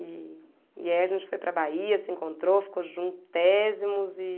E e aí a gente foi para Bahia, se encontrou, ficou juntos, tésimos, e